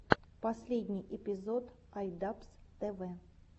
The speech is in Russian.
последний эпизод ай дабз тэ вэ